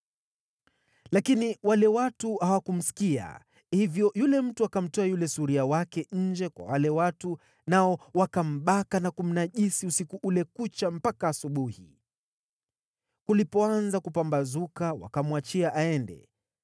Lakini wale watu hawakumsikia. Hivyo yule mtu akamtoa yule suria wake nje kwa wale watu, nao wakambaka na kumnajisi usiku ule kucha mpaka asubuhi. Kulipoanza kupambazuka wakamwachia aende.